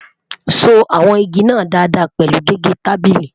sọ wọn ìgi nà Dàda pẹlu gégé tábìlì?